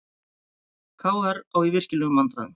KR á í virkilegum vandræðum